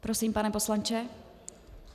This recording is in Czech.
Prosím, pane poslanče.